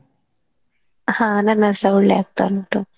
ಹಾ ನನ್ನದುಸಾ ಒಳ್ಳೇ ಆಗ್ತಾ ಉಂಟು.